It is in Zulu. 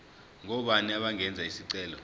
ngobani abangenza isicelo